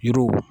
Yiriw